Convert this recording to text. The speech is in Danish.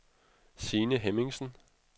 Signe Hemmingsen